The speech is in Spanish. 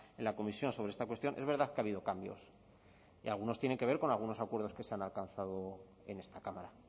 en la comisión sobre esta cuestión es verdad que ha habido cambios y algunos tienen que ver con algunos acuerdos que se han alcanzado en esta cámara